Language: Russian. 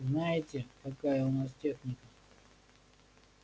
знаете какая у нас техника